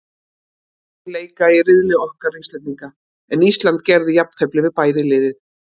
Liðin leika í riðli okkar Íslendinga, en Ísland gerði jafntefli við bæði lið.